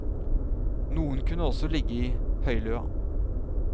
Noen kunne også ligge i høyløa.